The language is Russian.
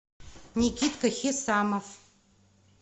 никитка хисамов